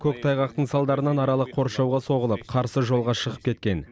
көктайғақтың салдарынан аралық қоршауға соғылып қарсы жолға шығып кеткен